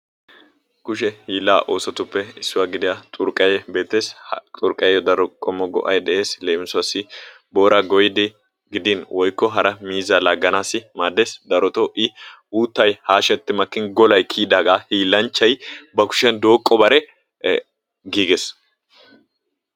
kushe hiilaa oosotuppe issuwa gidiya xurqayee maadees. leemissuwassi booraa goyiidi hara miizzaa laaganawu maadees. drotoo i uutay haashetti makkin golay kiyidaaga hiilanchchay, ba kushiyan dooqobare giigees.